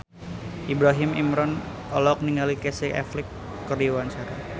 Ibrahim Imran olohok ningali Casey Affleck keur diwawancara